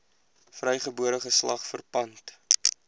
vrygebore geslag verpand